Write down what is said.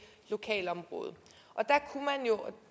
lokalområde